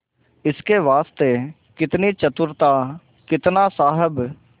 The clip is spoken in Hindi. इसके वास्ते कितनी चतुरता कितना साहब